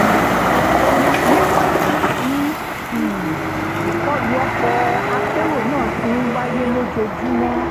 níwọ̀n ìgbà tí um ìkọlù ọkọ̀-akérò náà ti ń wáyé lójoojúmọ́